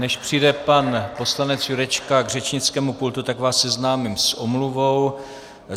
Než přijde pan poslanec Jurečka k řečnickému pultu, tak vás seznámím s omluvou.